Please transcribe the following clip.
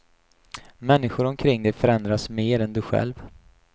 Människor omkring dig förändras mer än du själv.